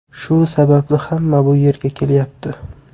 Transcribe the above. Shu sababli hamma bu yerga kelyapti.